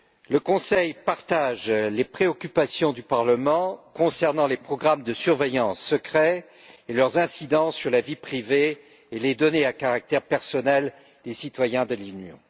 Le Conseil partage les préoccupations du Parlement concernant les programmes secrets de surveillance ainsi que leurs incidences sur la vie privée et les données à caractère personnel des citoyens de l'Union.